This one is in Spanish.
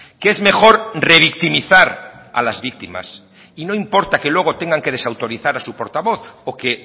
que es mejor revictimizar a las víctimas y no importa que luego tengan que desautorizar a su portavoz o que